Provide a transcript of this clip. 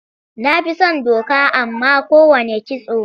Na fi son doka a man kowanne kitso.